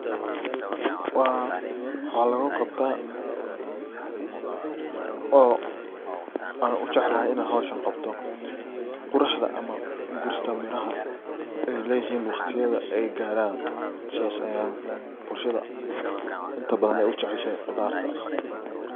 Waa ,waxaa lagu qabtaa oo aana u jeclahay inan howshan qabto quraxda ama gurista beeraha ay leyihin waqtiyadha ay garaan sas ayey bulshadha inta badan ay u jeceshahay khudarta.